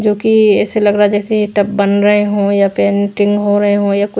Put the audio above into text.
जो कि ऐसे लग रहा है जैसे बन रहे हो या पेंटिंग हो रहे हो या--